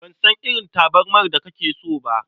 Ban san irin tabarmar da kake so ba.